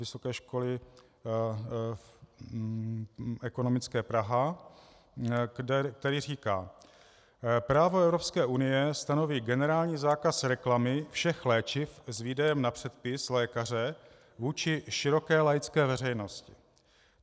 Vysoké školy ekonomické Praha, které říká: Právo Evropské unie stanoví generální zákaz reklamy všech léčiv s výdejem na předpis lékaře vůči široké laické veřejnosti.